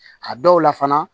A dɔw la fana